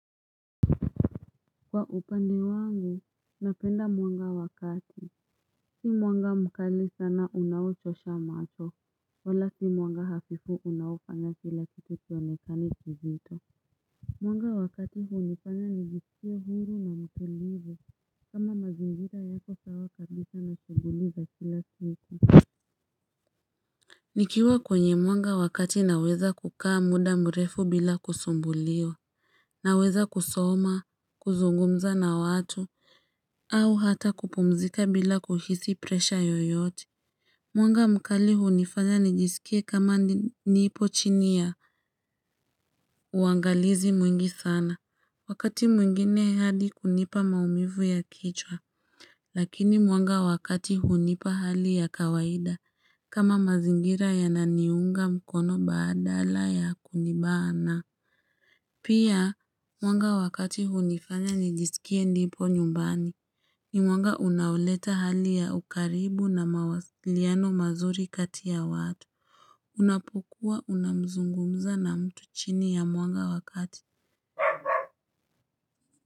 Kwa upande wangu, napenda mwanga wakati, si mwanga mkali sana unao chosha macho, wala si mwanga hafifu unao fanya kila kitu kionekane kizito. Mwanga wakati hunifanya nijisikie huru na mtulivu, kama mazingira yako sawa kabisha na shughuli za kila siku. Nikiwa kwenye mwanga wa kati naweza kukaa muda mrefu bila kusumbuliwa, naweza kusoma, kuzungumza na watu, au hata kupumzika bila kuhisi presha yoyote. Mwanga mkali hunifanya nijisikie kama nipo chini ya uangalizi mwingi sana. Wakati mwingine hadi kunipa maumivu ya kichwa, lakini mwanga wakati hunipa hali ya kawaida kama mazingira ya naniunga mkono badala ya kunibana. Pia mwanga wa kati hunifanya nijisikie nipo nyumbani ni mwanga unaoleta hali ya ukaribu na mawasiliano mazuri kati ya watu unapokuwa unamzungumza na mtu chini ya mwanga wa kati.